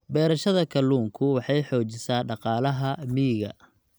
Beerashada kalluunku waxay xoojisaa dhaqaalaha miyiga.